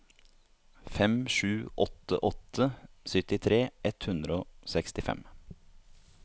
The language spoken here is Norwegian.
fem sju åtte åtte syttitre ett hundre og sekstifem